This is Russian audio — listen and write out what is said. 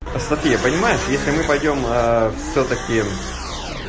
софия понимаешь если мы пойдём всё-таки